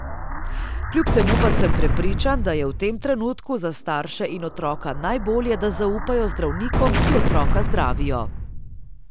Kljub temu pa sem prepričan, da je v tem trenutku za starše in otroka najbolje, da zaupajo zdravnikom, ki otroka zdravijo.